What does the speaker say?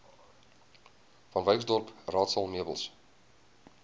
vanwyksdorp raadsaal meubels